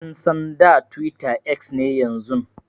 An San da Twitter X ne yanzun.